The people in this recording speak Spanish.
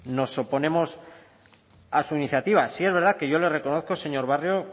nos oponemos a su iniciativa sí es verdad que yo le reconozco señor barrio